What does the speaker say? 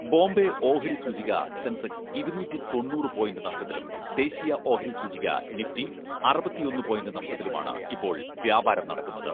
ബോംബെ ഓഹരിസൂചിക സെൻസെക്സ് ഇരുനൂറ്റി തൊണ്ണൂറ് പോയിന്റ് നഷ്ടത്തിലും, ദേശീയ ഓഹരി സൂചിക നിഫ്റ്റി അറുപത്തൊന്ന് പോയിന്റ് നഷ്ടത്തിലുമാണ് ഇപ്പോൾ വ്യാപാരം നടക്കുന്നത്.